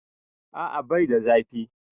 A'a bai da zafi.